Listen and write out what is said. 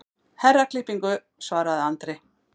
Herraklippingu, svaraði Andri.